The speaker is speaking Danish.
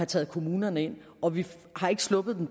taget kommunerne ind og vi har ikke sluppet